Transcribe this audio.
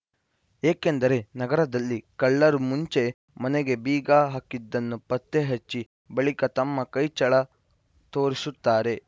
ಏಕೆಂದರೆ ನಗರದಲ್ಲಿ ಕಳ್ಳರು ಮುಂಚೆ ಮನೆಗೆ ಬೀಗ ಹಾಕಿದ್ದನ್ನು ಪತ್ತೆ ಹಚ್ಚಿ ಬಳಿಕ ತಮ್ಮ ಕೈ ಚಳ ತೋರಿಸುತ್ತಾರೆ